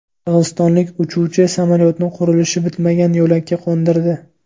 Qirg‘izistonlik uchuvchi samolyotni qurilishi bitmagan yo‘lakka qo‘ndirdi.